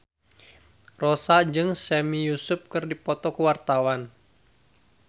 Rossa jeung Sami Yusuf keur dipoto ku wartawan